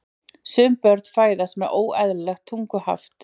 Sum börn fæðast með óeðlilegt tunguhaft.